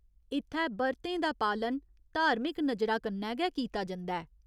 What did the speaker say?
इत्थै बर्तें दा पालन धार्मिक नजरा कन्नै गै कीता जंदा ऐ।